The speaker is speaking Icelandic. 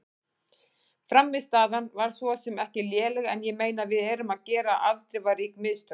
Frammistaðan var svo sem ekki léleg en ég meina við erum að gera afdrifarík mistök.